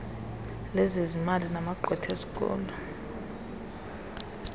lezezimali namagqwetha esikolo